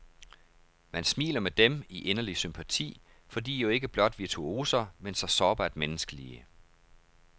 Man smiler med dem, i inderlig sympati, for de er jo ikke blot virtuoser, men så sårbart menneskelige.